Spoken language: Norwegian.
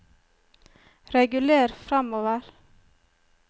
reguler framover